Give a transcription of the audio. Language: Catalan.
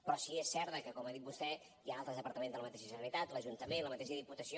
però sí que és cert que com ha dit vostè hi han altres departaments de la mateixa generalitat l’ajuntament la mateixa diputació